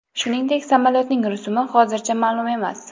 Shuningdek, samolyotning rusumi hozircha ma’lum emas.